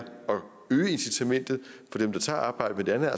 øge incitamentet for dem der tager arbejde